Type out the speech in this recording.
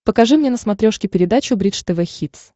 покажи мне на смотрешке передачу бридж тв хитс